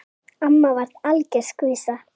Amma var algjör skvísa.